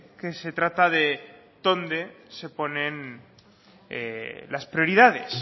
que se trata de dónde se ponen las prioridades